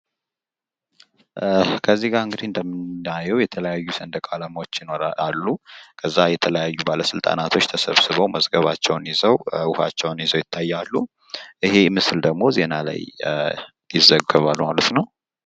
ከዚጋ ከእንግዲህ እንደምናየው የተለያዩ ሰንደቅ ዓላማዎች አሉ። ከዛ የተለያዩ ባለስልጣናቶች ተሰብስበው መዝገባቸውን ይዘው ውሃቸውን ይዞ ይታያሉ። ይህ መሰል ደግሞ ዜና ላይ ዘገባል ማለት ነዉ።